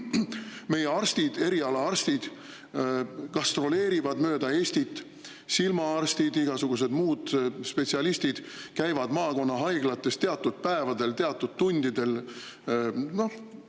Meie eriarstid gastroleerivad mööda Eestit, silmaarstid ja igasugused muud spetsialistid käivad teatud päevadel, teatud tundidel maakonnahaiglates.